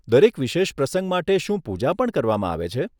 દરેક વિશેષ પ્રસંગ માટે શું પૂજા પણ કરવામાં આવે છે?